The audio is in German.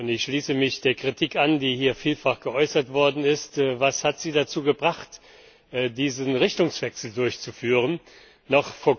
Ich schließe mich der Kritik an, die hier vielfach geäußert worden ist. Was hat Sie dazu gebracht, diesen Richtungswechsel zu vollziehen?